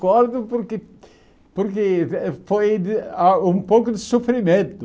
Recordo porque porque eh foi ah um pouco de sofrimento.